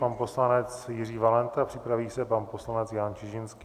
Pan poslanec Jiří Valenta, připraví se pan poslanec Jan Čižinský.